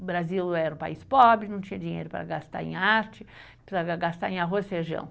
O Brasil era um país pobre, não tinha dinheiro para gastar em arte, para gastar em arroz e feijão.